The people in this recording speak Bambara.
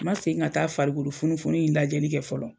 Ma segin ka taa farikolo funufunun in lajɛli kɛ fɔlɔ.